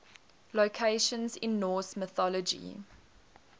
locations in norse mythology